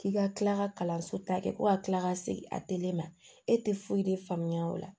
K'i ka kila ka kalanso ta kɛ ko ka tila ka segin a telema e tɛ foyi de faamuya o la